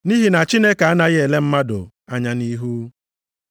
Nʼihi na Chineke anaghị ele mmadụ anya nʼihu.